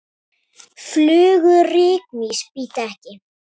Flugur rykmýs bíta ekki.